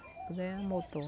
Tudo é a motor.